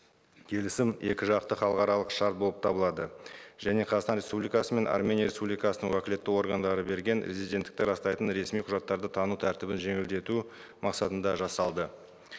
келісім екі жақты халықаралық шарт болып табылады және қазақстан республикасының армения республикасының уәкілетті органдары берген резиденттікті растайтын ресми құжаттарды тану тәртібін жеңілдету мақсатында жасалды